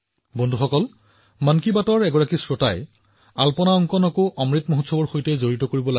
বন্ধুসকল মন কি বাতৰ এনে এজন দৰ্শকে পৰামৰ্শ দিছে যে অমৃত মহোৎসৱক ৰংগোলী কলাৰ সৈতে সংযুক্ত কৰিব লাগে